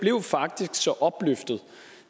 blev faktisk så opløftet